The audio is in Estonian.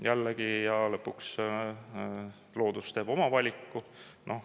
Jällegi, lõpuks loodus teeb oma valiku.